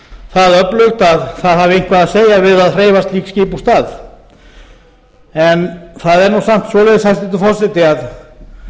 það öflugt að það hafi eitthvað að segja við að hreyfa slíkt skip úr stað en það er nú samt svoleiðis hæstvirtur forseti að